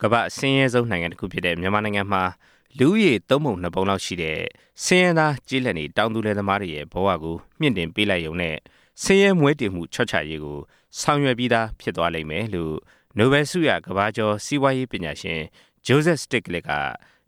ကမ္ဘာ့အဆင်းရဲဆုံးနိုင်ငံတစ်ခုဖြစ်တဲ့ မြန်မာနိုင်ငံမှာ လူဦးရေ သုံးပုံနှစ်ပုံလောက်ရှိတဲ့ ဆင်းရဲသားကျေးလက်နေ တောင်သူလယ်သမားတွေရဲ့ ဘဝကို မြှင့်တင်လိုက်ရုံနဲ့ ဆင်ရဲမွဲတေမှု လျှော့ချရေးကို ဆောင်ရွက်ပြီးသားဖြစ်တယ်လို့ နိုဘယ်လ်ဆုရ ကမ္ဘာကျော် စီးပွားရေးပညာရှင် ဂျိုးဇက်စတစ်ဂလစ် က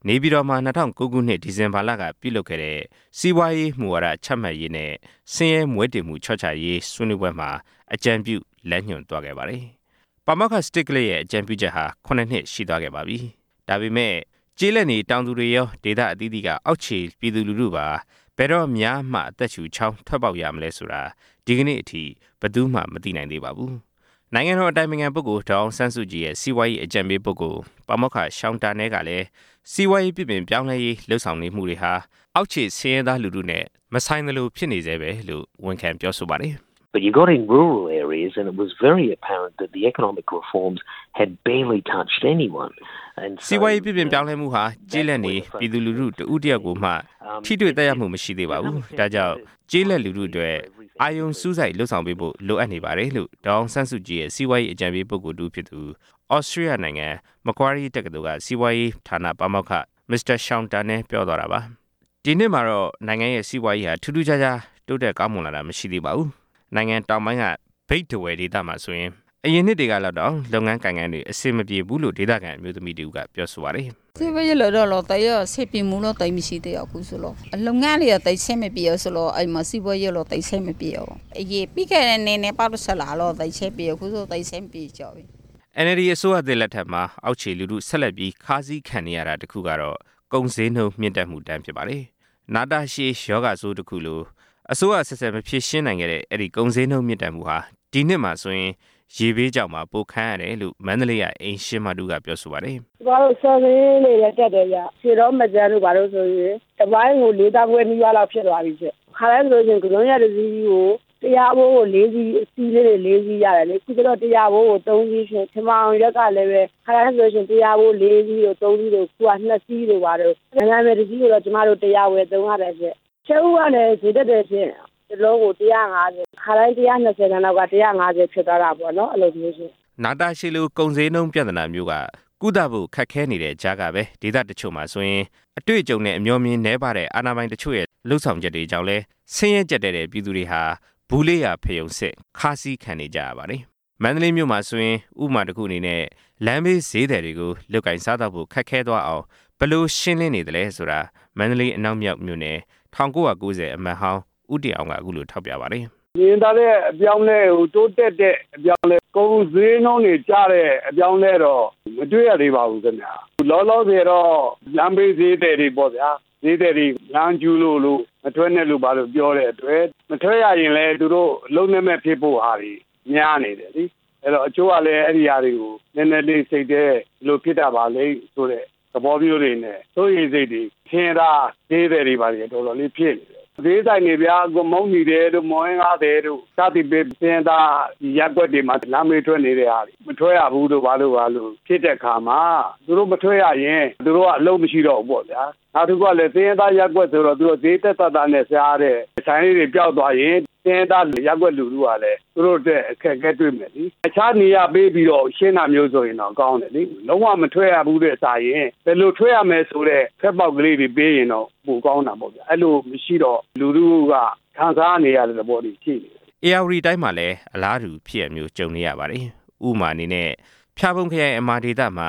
၂၀၀၉ ခုနှစ် ဒီဇင်ဘာလက နေပြည်တော်မှာ ပြုလုပ်ခဲ့တဲ့ စီးပွားရေးမူဝါဒချမှတ်ရေးနဲ့ ဆင်းရဲမွဲတေမှုလျှော့ချရေး ဆွေးနွေးပွဲမှာ အကြံပြုလမ်းညွှွန်သွားခဲ့ပါတယ်။ ဒီအကြံပြုချက်က ၇ နှစ်ရှိသွားခဲ့ပြီဖြစ်ပါတယ်။ ဒါပေမယ့်ကျေးလက်နေ တောင်သူတွေရော၊ ဒေသအသီးသီးက အောက်ခြေပြည်သူတွေပါ ဘယ်တော့များမှ အသက်ရှုချောင် ထွက်ပေါက်ရမလဲဆိုတာ ဒီကနေ့အထိ တပ်အပ် မသိနိုင်သေးပါဘူး။ နိုင်ငံတော်အတိုင်ပင်ခံပုဂ္ဂိုလ် ဒေါ်အောင်ဆန်းစုကြည်ရဲ့ စီးပွားရေးအကြံပေးပုဂ္ဂိုလ် ပါမောက္ခ ရှောင်တာနဲ ကတော့ စီးပွားရေးပြုပြင်ပြောင်းလဲရေးလုပ်ဆောင်နေမှုတွေဟာ အောက်ခြေဆင်းရဲသားလူထုနဲ့ မသက်ဆိုင်သလိုဖြစ်နေဆဲဘဲလို့ ဝန်ခံပြောဆိုပါတယ်။ “စီးပွားရေးပြုပြင်ပြောင်းလဲမှုဟာ ကျေးလက်နေလူထုတစ်ဦးတစ်ယောက်ကိုမှ ထိတွေ့သက်ရောက်မှု မရှိသေးပါဘူး။ ဒါ့ကြောင့် ကျေးလက်လူထုအတွက် အဓိကအာရုံစူးစိုက်လုပ်ဆောင်ပေးဖို့ လိုအပ်နေတယ်” လို့ ဒေါ်အောင်ဆန်းစုကြည်ရဲ့ စီးပွားရေးအကြံပေးပုဂ္ဂိုလ်တစ်ဦးဖြစ်သူ သြစတြေးလျနိုင်ငံ မကွာရီတက္ကသိုလ် စီးပွားရေးဌာနပါမောက္ခ မစ္စတာ ရှောင်တာနဲက ပြောပါတယ်။ ဒီနှစ်မှာတော့ နိုင်ငံရဲ့စီးပွားရေးဟာ ထူးထူးခြားခြားကောင်းမွန်လာတာ မရှိသေးပါဘူး။ နိုင်ငံတောင်ပိုင်းက မြိတ်၊ ထားဝယ်ဒေသမှာဆိုရင်လည်း အရင်နှစ်တွေကလောက်တောင် လုပ်ငန်းကိုင်ငန်းတွေ အဆင်မပြေဘူးလို့ ဒေသခံအမျိုးသမီးတစ်ဦးက ပြောပါတယ်။ “စီးပွားရေးလုပ်တာတော့ အဆင်ပြေမှုက သိပ်မရှိဘူး၊ လုပ်ငန်းတွေက အဆင်မပြေဘူးဆိုတော့၊ စီးပွားရေးက သိပ်အဆင်မပြေဘူး၊ ပြီးခဲ့တဲ့နှစ်ထက် သိပ်အဆင်မပြေကြဘူး” အန်အယ်လ်ဒီ အစိုးရသစ်လက်ထက်မှာ အောက်ခြေလူထု ဆက်လက်ပြီး ခါးစည်းခံနေရတာတစ်ခုက ကုန်ဈေးနှုန်း မြင့်တက်မှုဒဏ်ဖြစ်ပါတယ်။ နာတာရှည်ရောဂါဆိုးတစ်ခုလို အစိုးရအဆက်ဆက်မဖြေရှင်းနိုင်တဲ့ အဲဒီကုန်ဈေးနှုန်းမြင့်တက်မှုဟာ ဒီနှစ်မှာဆိုရင် ရေဘေးကြောင့်ပါ ပိုခံရတယ်လို့ မန္တလေးက အိမ်ရှင်မတစ်ဦးက ပြောပါတယ်။ “ကျွန်မတို့ ဆန်ဈေးတွေလည်း တက်တယ်ဗျ၊ ခါတိုင်းဆို ကန်စွန်းရွက်တစီးကို တစ်ရာဖိုးဆိုရင် အစည်းလေး ၄စီးရတယ်ရှင့်၊ အခုတော့ တရာဖိုးကို ၃ စီးရှင့်။ ချဉ်ပေါင်ရွက်ကလည်း ခါတိုင်းဆိုလို့ရှိရင် တရာဖိုးကို ၄ စီးတို့ ၃ စီးတို့၊ အခုတော့ ၂ စီးတို့၊ နံနံပင် ၁ စီးကိုတော့ ကျွန်မတို့ ၁၀၀ ဝယ်သုံးရတယ်ရှင့်။ ကြက်ဥကလည်း ဈေးတက်တယ်ရှင့်။ တစ်လုံးကို ၁၅၀၊ ခါတိုင်း ၁၂၀ တန်လောက်က ၁၅၀ ဖြစ်သွားတာရှင့်။” နာတာရှည်လို ကုန်ဈေးနှုန်းပြဿနာမျိုးက ကုသဖို့ခက်ခဲနေတဲ့ကြားကဘဲ ဒေသတချို့မှာဆိုရင် အတွေ့အကြုံနဲ့ အမြော်အမြင်နည်းပါးတဲ့ အာဏာပိုင်တချို့ရဲ့ လုပ်ဆောင်ချက်တွေကြောင့်လည်း ဆင်းရဲကြပ်တည်းတဲ့ ပြည်သူတွေဟာ ဗူးလေးရာဖရုံဆင့် ခါးစည်းခံနေကြရတာတွေလည်းရှိပါတယ်။ မန္တလေးမှာဆိုရင် ဥပမာတစ်ခုအနေနဲ့ လမ်းဘေးဈေးသည်တွေကို လုပ်ကိုင်စားသောက်ဖို့ ခက်ခဲသွားအောင် ဘယ်လိုရှင်းလင်းနေသလဲဆိုတာ မန္တလေးအနောက်မြောက် မြို့နယ်ရဲ့ ၁၉၉၀ ခုနှစ်အမတ်ဟောင်း ဦးတင်အောင်က အခုလို ထောက်ပြပါတယ်။ “မြင်သာတဲ့ အပြောင်းအလဲ၊ တိုးတက်တဲ့အပြောင်းအလဲ၊ ကုန်ဈေးနှုန်းတွေကျတဲ့ အပြောင်းအလဲတော့ မတွေ့ရသေးပါဘူးခင်ဗျ၊ လောလောဆယ်တော့ လမ်းဘေးဈေးသည်တွေပေါ့ဗျာ၊ ဈေးသည်တွေ လမ်းကျူးလို့ မထွက်နဲ့လို့ ပြောတဲ့အတွက် မထွက်ရရင်လည်း သူတို့အလုပ်လက်မဲ့ဖြစ်ဖို့ဟာတွေ များနေတယ်လေ၊ အဲဒီတော့ တချို့ကလည်း အဲဒီဟာတွေကို နည်းနည်းလေးစိတ်ထဲ ဘယ်လိုဖြစ်တာပါလိမ့်ဆိုတဲ့ သဘောမျိုးတွေနဲ့ စိုးရိမ်စိတ်တွေ ဆင်းရဲသားဈေးသည်တွေ တော်တော်လေးဖြစ်နေတယ်။ ဈေးဆိုင်တွေဗျာ မုန့်တီသည်တို့ မုန့်ဟင်းခါးသည်တို့ စသည်ဖြင့် ဆင်းရဲသားရပ်ကွက်တွေမှာ လမ်းဘေးထွက်နေတဲ့ဟာတွေ မထွက်ရဘူးတို့ ဖြစ်တဲ့အခါမှာ သူတို့မထွက်ရရင် သူတို့အလုပ်မရှိတော့ဘူးပေါ့ဗျာ။ နောက်တစ်ခုက ဆင်းရဲသားရပ်ကွက်ဆိုတော့ ဈေးသက်သက်သာသာနဲ့ စားရတဲ့ဆိုင်လေးတွေပျောက်သွားရင် ဆင်းရဲသား ရပ်ကွက်လူထုဟာလည်း သူတို့အတွက် အခက်အခဲတွေ့မယ်လေ၊ အခြားနေရာပေးပြီးတော့ ရှင်းတာမျိုးဆိုရင်တော့ ကောင်းတယ်လေ၊ လုံးဝမထွက်ရဘူးထက်စာရင် ဘယ်လိုထွက်ရမယ်ဆိုတဲ့ ထွက်ပေါက်ကလေးတွေ ပေးရင်တော့ ပိုကောင်းတာပေါ့။ အဲလိုမရှိတော့ လူထုက ခံစားနေရတဲ့သဘောတွေ ရှိနေတယ်” ဧရာဝတီတိုင်းမှာလည်း အလားတူဖြစ်ရပ်မျိုး ကြုံနေရပါတယ်။ ဥပမာအနေနဲ့ ဖျာပုံခရိုင်အမာဒေသမှာ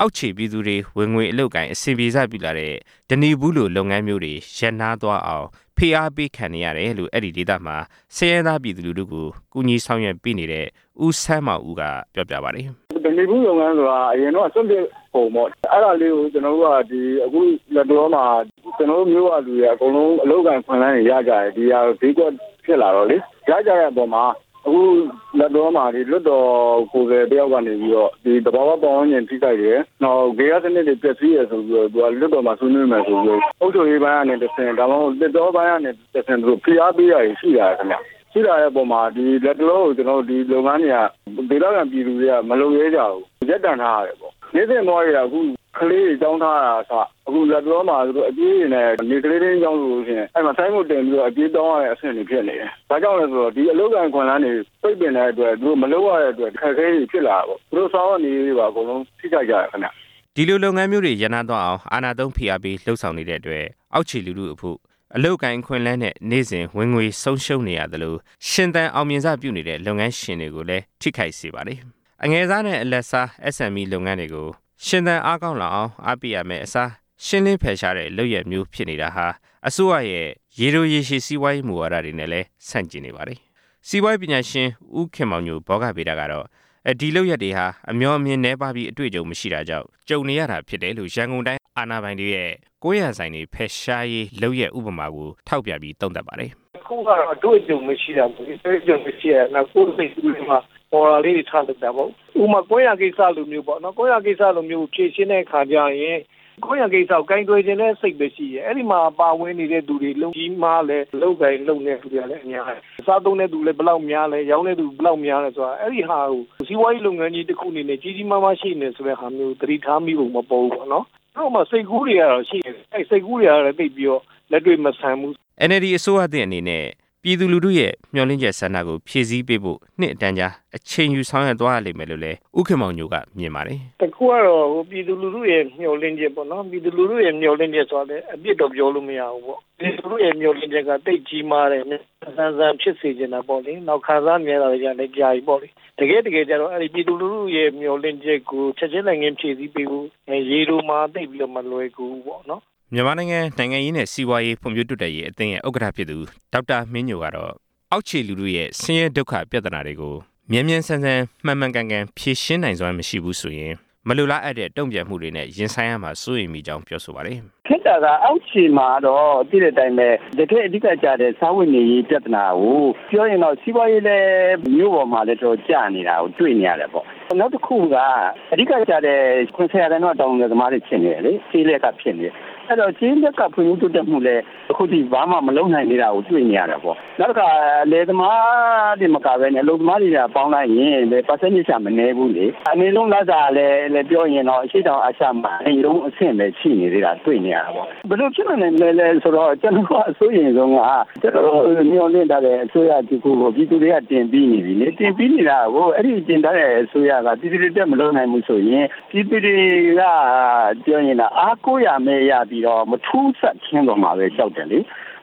အောက်ခြေပြည်သူတွေ ဝင်ငွေအလုပ်အကိုင် အဆင်ပြေစပြုလာတဲ့ ဓနိဖူးလိုလုပ်ငန်းမျိုးတွေရပ်နားသွားအောင် ဖိအားပေးနေရတယ်လို့ အဲဒီဒေသမှာ ဆင်းရဲသားပြည်သူလူထုကို ကူညီဆောင်ရွက်ပေးနေတဲ့ ဦးဆန်းမောင်ဦးက ပြောပြပါတယ်။ “ဓနိဖူးလုပ်ငန်းဆိုတာ အရင်တုံးက စွန့်ပစ်ကုန်ပေါ့၊ အဲဒါလေးကို ကျွန်တော်တို့က အခုလတ်တလောမှာ ကျွန်တော်တို့မြို့ကလူတွေက အကုန်လုံးအလုပ်အကိုင်အခွင့်အလန်းတွေရကြတယ်။ ဒီဟာ ဈေးကွက်ဖြစ်လာ တော့လေ၊ ရကြတဲ့အပေါ်မှာ အခုလတ်တလောမှာ လွှတ်တော်ကိုယ်စားလှယ်တစ်ယောက်က နေပြီးတော့ သဘာဝပတ်ဝန်းကျင်ထိခိုက်တယ်၊ ဂေဟစနစ်တွေပျက်စီးတယ်ဆိုပြီးတော့သူက လွှတ်တော်မှာ ဆွေးနွေးမယ်ဆိုပြီးတော့ အုပ်ချုပ်ရေးပိုင်းကနေတဆင့် ဒါမှမဟုတ် သစ်တောပိုင်းကနေတဆင့် သူတို့ ဖိအားပေးတာတွေ ရှိလာတယ် ခင်ဗျ။ ရှိလာတဲ့အပေါ်မှာ လတ်တလောမှာ ဒီလုပ်ငန်းတွေကို ဒေသခံပြည်သူတွေက မလုပ်ရဲကြဘူး။ ရပ်တံ့ထားရတယ်ပေါ့။ နေ့စဉ်ဘဝတွေက အခုကလေးတွေ ကျောင်းထားရတာကအစ လတ်တလောမှာ သူတို့အကြွေးတွေနဲ့၊ ဥပမာ နေ့ကလေးထိန်းကျောင်းဆိုလို့ရှိရင် ဆိုင်းဘုတ်တင်ပြီးတော့ အကြွေးတောင်းရတဲ့အဆင့်တွေ ဖြစ်နေတယ်။ ဘာကြောင့်လဲဆိုတော့ ဒီအလုပ်အကိုင်အခွင့်အလန်းတွေ ပိတ်ပင်တဲ့အတွက် မလုပ်ရတဲ့အတွက် အခက်အခဲတွေဖြစ်လာတယ်ပေါ့၊ သူတို့ စားဝတ်နေရေးတွေပါ အကုန်လုံး ထိခိုက်ကြတယ် ခင်ဗျ” ဒီလိုလုပ်ငန်းမျိုးတွေ ရပ်နားသွားအောင် အာဏာသုံးဖိအားပေးလုပ်ဆောင်နေတဲ့အတွက် အောက်ခြေလူထုအဖို့ အလုပ်အကိုင်အခွင့်အလန်းနဲ့ နေ့စဉ်ဝင်ငွေဆုံးရှုံးရသလို ရှင်သန်အောင်မြင်စပြုနေတဲ့ လုပ်ငန်းရှင်တွေလည်း အထိနာကြရပါတယ်။ အငယ်စားနဲ့ အလတ်စား SME လုပ်ငန်းတွေရှင်သန်းအားကောင်းလာအောင် အားပေးရမယ့်အစား ရှင်းလင်းဖယ်ရှားတဲ့လုပ်ရပ်မျိုးဖြစ်နေတာဟာ အစိုးရရဲ့ရေရှည်စီးပွားရေးမူဝါဒတွေနဲ့ လည်း ဆန့်ကျင်နေပါတယ်။ စီးပွားရေးပညာရှင် ဦးခင်မောင်ညို ကတော့ အမြော်အမြင်နည်းပါးပြီးနဲ့ အတွေ့အကြုံမရှိတာကြောင့် ဒီပြဿနာတွေ ကြုံနေရတာလို့ ရန်ကုန်တိုင်းအာဏာပိုင်တွေရဲ့ ကွမ်းယာဆိုင်တွေဖယ်ရှားရေးကြိုးပမ်းခဲ့တဲ့လုပ်ရပ် ဥပမာကို ထောက်ပြပြီး သုံးသပ်ပါတယ်။ “တစ်ခုကတော့ အတွေ့အကြုံမရှိတာပေါ့လေ၊ အတွေ့အကြုံမရှိတာ။ နောက် ကိုယ့်စိတ်ကူးထဲမှာ ပေါ်တာလေးတွေ ထလုပ်တာပေါ့၊ ဥပမာ ကွမ်းယာကိစ္စလိုမျိုးပေါ့။ ကွမ်းယာကိစ္စမျိုးကို ဖြေရှင်းတဲ့အခါကျရင် ကွမ်းယာကိစ္စကို ကိုင်တွယ်ချင်တဲ့စိတ်ဘဲရှိတယ်၊ အဲဒီမှာပါဝင်နေတဲ့သူတွေ ဘယ်လောက်ကြီးမားလဲ၊ အလုပ်အကိုင်လုပ်နေတဲ့သူတွေကလည်း များတယ်၊ စားသုံးတဲ့သူ ဘယ်လောက်များလဲ၊ ရောင်းတဲ့သူ ဘယ်လောက်များလဲဆိုတာ၊ အဲဒီဟာကို စီးပွားရေးလုပ်ငန်းကြီးတစ်ခုအနေနဲ့ ကြီးကြီးမားမားရှိနေတယ်ဆိုတဲ့ဟာမျိုးကို သတိထားမိဟန်မပေါ်ဘူးပေါ့နော်။ သူတို့မှာ စိတ်ကူးတွေကတော့ ရှိနေတယ်၊ အဲဒီစိတ်ကူးတွေက သိပ်ပြီးတော့ လက်တွေ့မဆန်ဘူး” NLD အစိုးရသစ်အနေနဲ့ ပြည်သူလူထုရဲ့မျှော့်လင့်ချက်ကို ဖြည့်ဆည်းပေးဖို့ နှစ်အတန်ကြာ အချိန်ယူဆောင်ရွက်သွားရဖွယ်ရှိတယ်လို့လည်း ဦးခင်မောင်ညိုက ပြောပါတယ်။ “တစ်ခုကတော့ ပြည်သူလူထုရဲ့မျှော်လင့်ချက်ပေါ့နော်၊ ပြည်သူလူထုရဲ့ မျှော်လင့်ချက်ဆိုတာကလည်း အပြစ်တော့ ပြောလို့မရဘူးပေါ့၊ ပြည်သူလူထုရဲ့မျှော်လင့်ချက်က သိပ်ကြီးမားတယ်၊ မြန်မြန်ဆန်ဆန် ဖြစ်စေချင်တာပေါ့၊ နောက် ခံစားနေရတာတွေကလည်း ကြာပြီပေါ့လေ။ တကယ့်တကယ်ကျတော့ ပြည်သူလူထုရဲ့ မျှော်လင့်ချက်ကို ချက်ချင်းလက်ငင်းဖြည့်ဆည်းပေးဖို့ ရေတိုမှာတော့ သိပ်ပြီးတော့ မလွယ်ကူဘူးပေါ့နော်။” မြန်မာနိုင်ငံ နိုင်ငံရေးနဲ့ စီးပွားရေးဖွံ့ဖြိုးတိုးတက်ရေးအသင်းရဲ့ ဥက္ကဌဖြစ်သူ ဒေါက်တာမင်းညိုကတော့ အောက်ခြေလူထုရဲ့ကြပ်တည်းမှုတွေကို မြန်မြန်ဆန်ဆန် မှန်မှန်ကန်ကန် ဖြေရှင်းနိုင်စွမ်းမရှိဘူးဆိုရင် မလိုလားအပ်တဲ့ တုံ့ပြန်မှုတွေနဲ့ ရင်ဆိုင်ရမှာ စိုးရိမ်မိကြောင်း ပြောပါတယ်။ “ခက်တာက အောက်ခြေမှာကတော့ သိတဲ့အတိုင်းဘဲ တကယ့်အဓိကကျတဲ့ စားဝတ်နေရေးပြဿနာကို၊ ပြောရင်တော့ စီးပွားရေးလည်း မြို့ပေါ်မှာလည်း တော်တော်ကျနေတာကိုတွေ့နေရတယ်ပေါ့၊ နောက်တစ်ခုက အဓိကကျတဲ့ ၇၀ ရာခိုင်နှုန်းက တောင်သူလယ်သမားတွေ ဖြစ်နေတယ်လေ၊ ကျေးလတ်က ဖြစ်နေတယ်၊ အဲဒီတော့ ကျေးလတ်က ဖွံ့ဖြိုးတိုးတက်မှုလည်း အခုထိဘာမှ မလုပ်နိုင်သေးတာကို တွေ့နေရတယ်ပေါ့။ နောက်တခါ လယ်သမားတွေသာမက အလုပ်သမားတွေပါ ပေါင်းလိုက်ရင် ရာခိုင်နှုန်းက မနည်းဘူးလေ၊ အနိမ့်ဆုံးလစာကလည်း ပြောမယ်ဆိုရင် အရှေ့တောင်အာရှမှာ အနိမ့်ဆုံးအဆင့်ဘဲရှိနေသေးတာ တွေ့နေရတယ်ပေါ့။ ဘယ်လိုဖြစ်လာနိုင်သလဲဆိုတော့ ကျွန်တော်တို့က အစိုးရိမ်ဆုံးက ကျွန်တော်တို့ မျှော်လင့်ထားတဲ့အစိုးရတစ်ခုကို ပြည်သူတွေက တင်ပြီးနေပြီလေ၊ တင်ပြီးနေတာကို အဲဒီတင်ထားတဲ့အစိုးရ ပြည်သူတွေအတွက် မလုပ်နိုင်ဘူးဆိုရင် ပြည်သူတွေက အားကိုးရာမဲ့ရောက်ပြီးတော့ မထူးဇာတ်ခင်းသွားမှာဘဲ ကြောက်တယ်လေ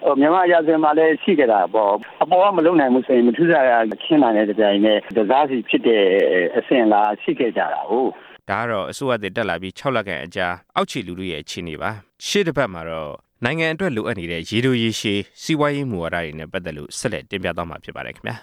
၊ မြန်မာရာဇဝင်မှာလည်း ရှိခဲ့တာပေါ့၊ အပေါ်ကမလုပ်နိုင်ဘူးဆိုရင် မထူးဇာတ်ခင်းတာနဲ့ တပြိုင်နက် တစစီဖြစ်တဲ့ အစဉ်အလာက ရှိခဲ့ကြတာကိုး။” ဒါကတော့ အစိုးရသစ်တက်လာပြီး ၆ လခန့်အကြာ အောက်ခြေလူထုအခြေအနေပါ။ ရှေ့အပတ်မှာတော့ နိုင်ငံအတွက် လိုအပ်နေတဲ့ ရေတိုရေရှည် စီးပွားရေးမူဝါဒနဲ့ပါတ်သက်လို့ ဆက်လက်တင်ပြသွားမှာ ဖြစ်ပါတယ်ခင်ဗျာ